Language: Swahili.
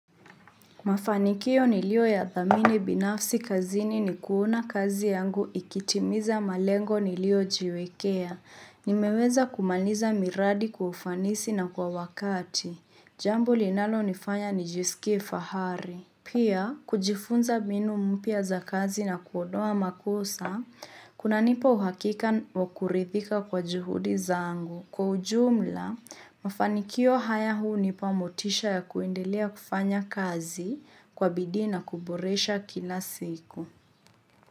Mafanikio niliyo yadhamini binafsi kazini ni kuona kazi yangu ikitimiza malengo nilio jiwekea. Nimeweza kumaliza miradi kwa ufanisi na kwa wakati. Jambo linalonifanya nijiskie fahari. Pia, kujifunza mbinu mpya za kazi na kuondoa makosa, kuna nipa uhakika wakuridhika kwa juhudi zangu. Kwa ujumla, mafanikio haya hunipa motisha ya kuendelea kufanya kazi. Kwa bidii na kuboresha kila siku.